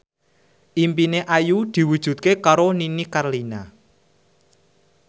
impine Ayu diwujudke karo Nini Carlina